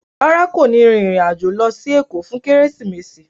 Rárá, kò ní rìnrìn-àjò lọ sí Èkó fún Kérésìmesì